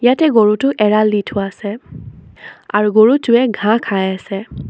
ইয়াতে গৰুটো এৰাল দি থোৱা আছে আৰু গৰুটোৱে ঘাঁহ খাই আছে।